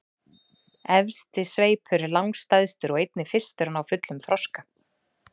Efsti sveipur er langstærstur og einnig fyrstur að ná fullum þroska.